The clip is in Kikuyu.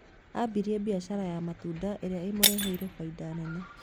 Ambirie biashara ya matunda ĩrĩa ĩmureheire faida nene.